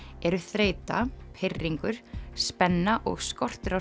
eru þreyta pirringur spenna og skortur á